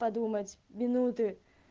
подумать минуты